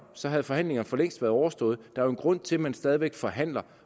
så havde forhandlingerne for længst være overstået der er jo en grund til at man stadig væk forhandler